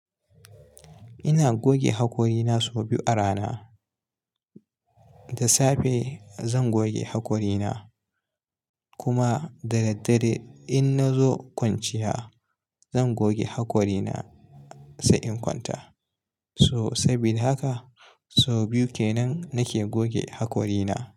Ina goge hakorina sau biyu a rana. Da safe zan goge hakorina kuma da daddare in na zo kwanciya zan goge hakorina sai in kwanta. So saboda haka sau biyu kenan nake goge hakorina.